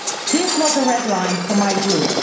This was a red line for my group.